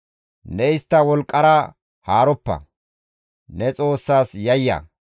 Ne istta wolqqara haaroppa; ne Xoossaas yayya.